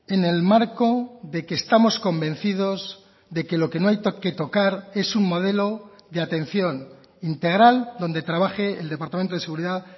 en el marco de que estamos convencidos de que lo que no hay que tocar es un modelo de atención integral donde trabaje el departamento de seguridad